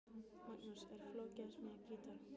Magnús: Er flókið að smíða gítar?